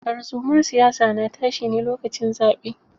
Tarzumar siyasa na tashi ne lokacin zaɓe.